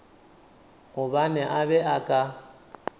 gobane a be a ka